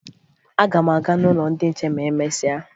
Aga m aga n'ụlọ ndị nche ma e mesịa